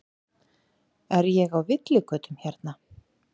Er ég á villigötum hérna?